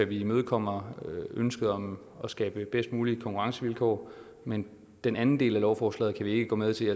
vi imødekommer ønsket om at skabe bedst mulige konkurrencevilkår men den anden del af lovforslaget kan vi ikke gå med til